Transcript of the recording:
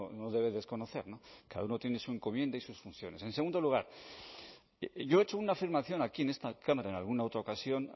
no debe desconocer cada uno tiene su encomienda y sus funciones en segundo lugar yo he hecho una afirmación aquí en esta cámara en alguna otra ocasión